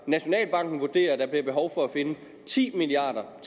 nationalbanken vurderer at der bliver behov for at finde ti milliard